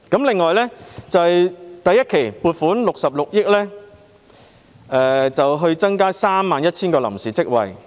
另外，預算案再撥款66億元創造 31,000 個臨時職位。